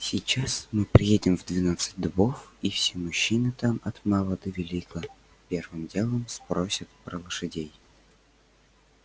сейчас мы приедем в двенадцать дубов и все мужчины там от мала до велика первым делом спросят про лошадей